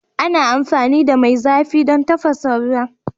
Ana amfani da mai zafi don tafasa ruwa